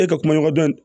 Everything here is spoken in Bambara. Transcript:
E ka kumaɲɔgɔndon